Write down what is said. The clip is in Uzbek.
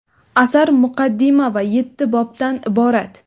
Asar muqaddima va yetti bobdan iborat.